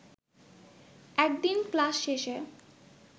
একদিন ক্লাশ শেষে